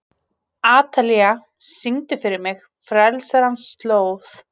Atalía, syngdu fyrir mig „Frelsarans slóð“.